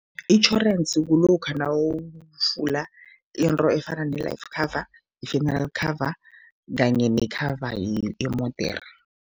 Itjhorensi kulokha nawuvula into efana ne-life cover, i-funeral cover kanye ne-cover yemodere.